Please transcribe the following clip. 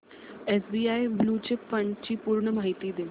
SBI blue chip fund ची पूर्ण माहिती दे